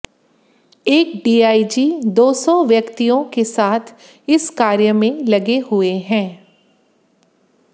एक डीआईजी दो सौ व्यक्तियों के साथ इस कार्य में लगे हुए हैं